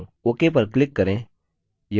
ok पर click करें